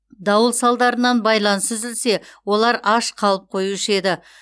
дауыл салдарынан байланыс үзілсе олар аш қалып қоюшы еді